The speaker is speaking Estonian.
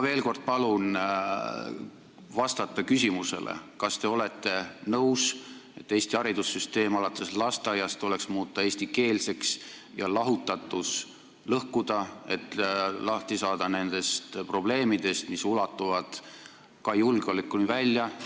Veel kord palun vastata küsimusele, kas te olete nõus, et Eesti haridussüsteem alates lasteaiast tuleks muuta eestikeelseks ja lahutatus lõhkuda, et lahti saada nendest probleemidest, mis ulatuvad ka julgeolekuni välja.